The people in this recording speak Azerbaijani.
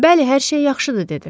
Bəli, hər şey yaxşıdır, dedi.